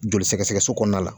Joli sɛgɛsɛgɛso kɔnɔna la.